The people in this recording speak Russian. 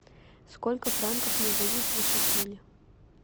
сколько франков мне дадут за шекели